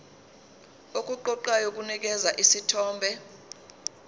okuqoqayo kunikeza isithombe